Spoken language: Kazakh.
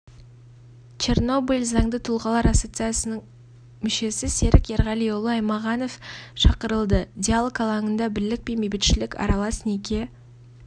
чернобыль заңды тұлғалар ассоциациясының мүшесі серік ерғалиұлы аймағанов шақырылды диалог алаңында бірлікпен бейбітшілік аралас неке